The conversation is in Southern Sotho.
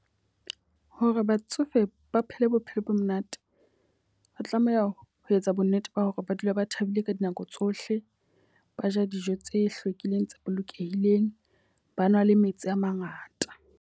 Hore batsofe ba phele bophelo bo monate. Ba tlameha ho etsa bo nnete ba hore ba dule ba thabile ka dinako tsohle. Ba ja dijo tse hlwekileng tse bolokehileng, ba nwa le metsi a mangata.